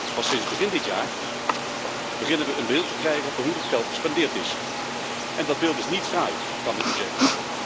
Pas sinds begin dit jaar beginnen we een beeld te krijgen van hoe dat geld gespendeerd is, en dat beeld is niet fraai, kan ik u zeggen.